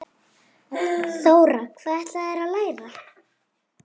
Þóra: Hvað ætlarðu að læra?